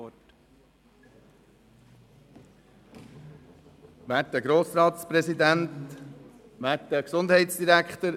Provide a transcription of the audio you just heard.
Für Kinder mit ADHS sind praktikable, pädagogisch sinnvolle Massnahmen und Möglichkeiten im Schulalltag weiterhin sicherzustellen oder wo sie fehlen, rasch umzusetzen.